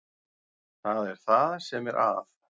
Það er það sem er að.